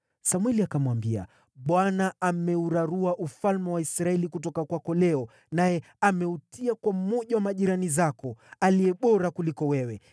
Samweli akamwambia, “ Bwana ameurarua ufalme wa Israeli kutoka kwako leo, naye ameutia kwa mmoja wa majirani zako, aliye bora kuliko wewe.